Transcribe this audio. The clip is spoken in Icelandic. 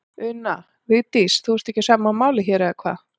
Una: Vigdís, þú ert ekki á sama máli hér, eða hvað?